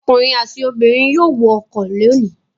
Ọkùnrin àti obìnrin yóò wọ ọkọ̀ lónìí.